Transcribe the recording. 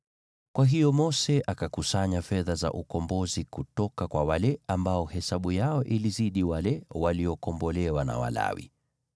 Kwa hiyo Mose akakusanya fedha za ukombozi kutoka kwa wale ambao hesabu yao ilizidi wale waliokombolewa na Walawi.